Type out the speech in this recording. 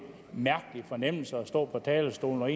mærkelig fornemmelse at stå på talerstolen og